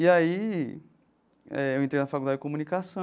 E aí eh eu entrei na Faculdade de Comunicação,